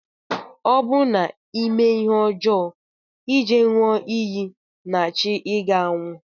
Ọ bụ na ime ihe ọjọ ije nyụọ iyi na chi iga anwụ.